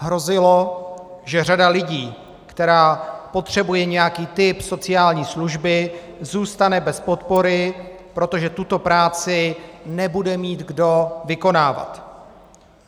Hrozilo, že řada lidí, která potřebuje nějaký typ sociální služby, zůstane bez podpory, protože tuto práci nebude mít kdo vykonávat.